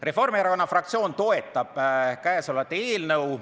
Reformierakonna fraktsioon toetab käesolevat eelnõu.